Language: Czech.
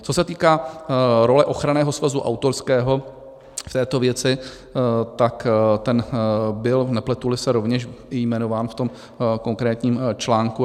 Co se týká role Ochranného svazu autorského v této věci, tak ten byl, nepletu-li se, rovněž jmenován v tom konkrétním článku.